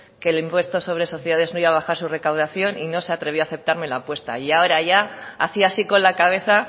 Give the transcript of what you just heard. que el impuesto sobre sociedades no iba a bajar su recaudación y no se atrevió a aceptarme la apuesta y ahora ya hacía así con la cabeza